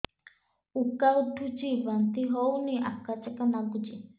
ଉକା ଉଠୁଚି ବାନ୍ତି ହଉନି ଆକାଚାକା ନାଗୁଚି